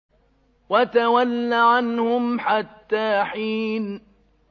وَتَوَلَّ عَنْهُمْ حَتَّىٰ حِينٍ